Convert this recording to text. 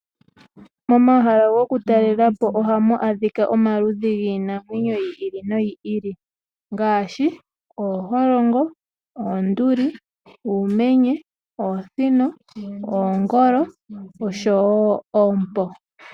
Momahala gokutalela po ohamu adhika omaludhi giinamwenyo yi ili noyi ili ngaashi: ooholongo, oonduli, uumenye, oosino, oongolo oshowo oompo.